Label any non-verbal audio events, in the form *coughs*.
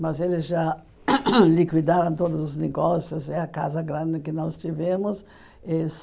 Mas eles já *coughs* liquidaram todos os negócios, é a casa grande que nós tivemos.